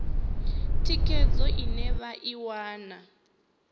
thikhedzo ine vha i wana